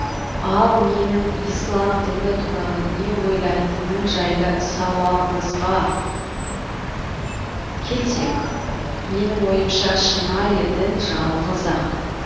ал менің ислам діні туралы не ойлайтыным жайлы сауалыңызға келсек менің ойымша шынайы дін жалғыз ақ